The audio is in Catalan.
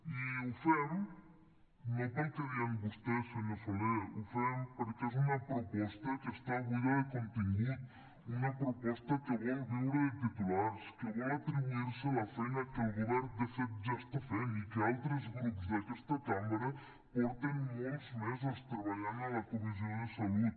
i ho fem no pel que deien vostès senyor soler ho fem perquè és una proposta que està buida de contingut una proposta que vol viure de titulars que vol atribuir se la feina que el govern de fet ja està fent i que altres grups d’aquesta cambra porten molts mesos treballant a la comissió de salut